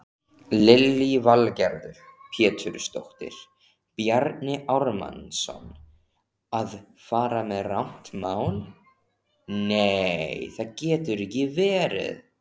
Lillý Valgerður Pétursdóttir: Bjarni Ármannsson að fara með rangt mál?